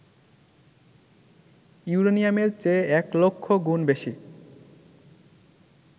ইউরেনিয়ামের চেয়ে ১০০০০০ গুণ বেশি